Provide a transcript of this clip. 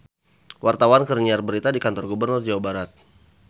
Wartawan keur nyiar berita di Kantor Gubernur Jawa Barat